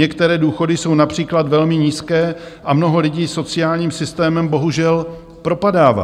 Některé důchody jsou například velmi nízké a mnoho lidí sociálním systémem bohužel propadává.